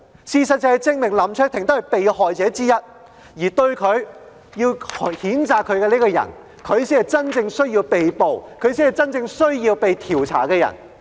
事實亦證明，他只是被害者之一。提出譴責他的人，才是真正需要被捕和被調查的人。